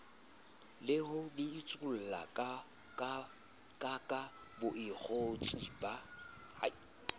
le ho bitsollakaka bakgotsi ba